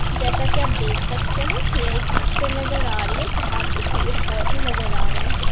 जैसा कि आप देख सकते हैं यह एक पिक्चर नजर आ रही है जहां पे पेड़-पौधे नजर आ रहे हैं।